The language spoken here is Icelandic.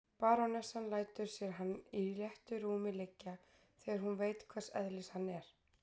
Barónessan lætur sér hann í léttu rúmi liggja, þegar hún veit hvers eðlis hann er.